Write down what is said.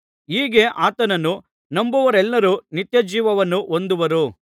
ಹೀಗೆ ಆತನನ್ನು ನಂಬುವವರೆಲ್ಲರೂ ನಿತ್ಯಜೀವವನ್ನು ಹೊಂದುವರು